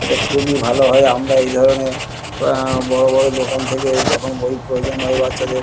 এদের খুবই ভালো হয় আমরা এই ধরণের আ বড় বড় দোকান থেকে যখন বই প্রয়োজন হয় বাচ্চাদের--